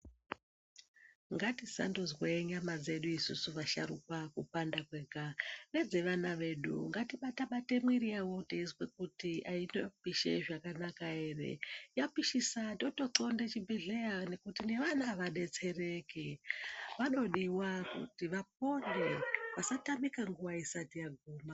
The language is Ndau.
Ngatisandozwe nyama dzedu isusu vasharukwa kupanda kwega, nedzevana vedu ngatibata bata mwiri yavo teizwa kuti inopisha zvakanaka ere. Yapishisa totoxonda chibhohlera kuti nevana vadetsereke. Vanodiwa vapone vasatamika nguwa isati yaguma.